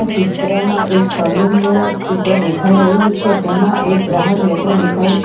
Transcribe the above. ચિત્રમાં એક સલૂનનું ચિત્ર દેખાઈ રહ્યું છે તેમાં એક ગ્રાહક બેસેલો દેખાય છે.